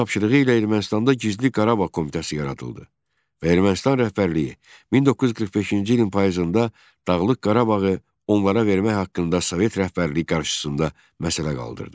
Onun tapşırığı ilə Ermənistanda gizli Qarabağ Komitəsi yaradıldı və Ermənistan rəhbərliyi 1945-ci ilin payızında Dağlıq Qarabağı onlara vermək haqqında Sovet rəhbərliyi qarşısında məsələ qaldırdı.